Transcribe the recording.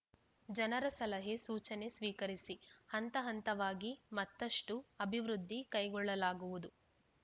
ಜನರ ಸಲಹೆ ಸೂಚನೆ ಸ್ವೀಕರಿಸಿ ಹಂತ ಹಂತವಾಗಿ ಮತ್ತಷ್ಟುಅಭಿವೃದ್ಧಿ ಕೈಗೊಳ್ಳಲಾಗುವುದು